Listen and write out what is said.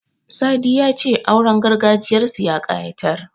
Sadi ya ce auren gargajiyarsu ya ƙayatar.